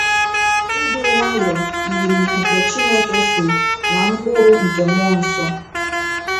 Ịdị nwayọọ yiri nke Chineke so ná mkpụrụ nke mmụọ nsọ.